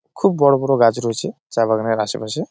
খুব বড় বড় গাছ রয়েছে চা বাগানের আসে পাশে।